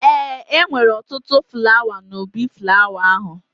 Ee, e nwere ọtụtụ flawa n'ubi flawa ahụ